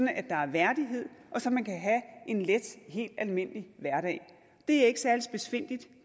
at der er værdighed og så man kan have en let og helt almindelig hverdag det er ikke særlig spidsfindigt